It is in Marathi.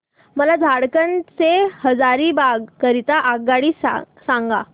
मला झारखंड से हजारीबाग करीता आगगाडी सांगा